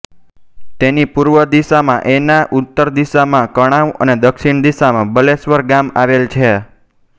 તેની પૂર્વ દિશામાં એના ઉત્તર દિશામાં કણાવ અને દક્ષિણ દિશામાં બલેશ્વર ગામ આવેલ છે